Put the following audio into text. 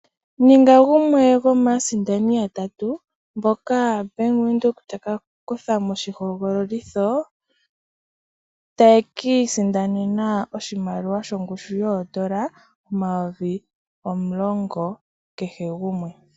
Ninga gumwe gomaaasindani yatatu, mboka Bank Widhoek taka kutha moshi hogololitho, ta yeki isindanena oshimaliwa shongushu yoondola omayovi omulongo kehe gumwe.